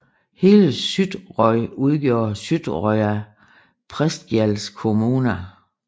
Hele Suðuroy udgjorde Suðuroyar prestagjalds kommuna